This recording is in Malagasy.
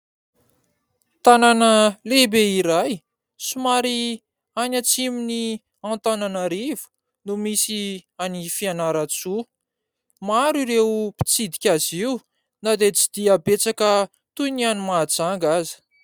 Tanàna lehibe iray, somary any atsimo ny Antananarivo no misy any Fianarantsoa maro ireo mpitsidika azy io na dia tsy dia betsaka toy ny any Mahajanga aza.